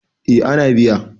eh ana biya